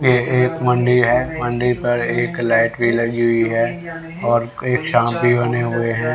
ये एक मन्दिर है मन्दिर पर एक लाइट भी लगी हुई है और एक सांफ भी बने हुए हैं।